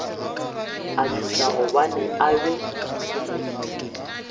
a tšhoša gobane a be